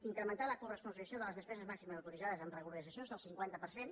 incrementar la coresponsabilització de les despeses màximes autoritzades amb regularitzacions del cinquanta per cent